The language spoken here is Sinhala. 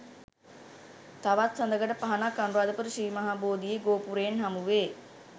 තවත් සඳකඩ පහණක් අනුරාධපුර ශ්‍රී මහා බෝධියේ ගෝපුරයෙන් හමු වේ.